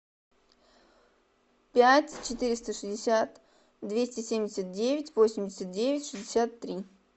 пять четыреста шестьдесят двести семьдесят девять восемьдесят девять шестьдесят три